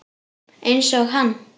Einsog hann.